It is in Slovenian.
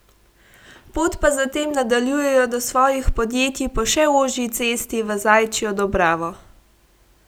Pot pa zatem nadaljujejo do svojih podjetij po še ožji Cesti v Zajčjo dobravo.